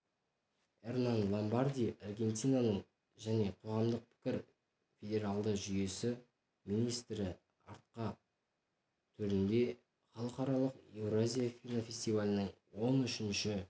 эрнан ломбарди аргентинаның және қоғамдық пікір федералды жүйесі министрі арқа төрінде халықаралық еуразия кинофестивалінің он үшінші